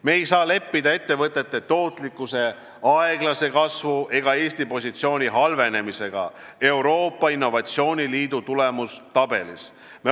Me ei saa leppida ettevõtete tootlikkuse aeglase kasvu ega Eesti positsiooni halvenemisega Euroopa innovatsiooniliidu tulemustabelis.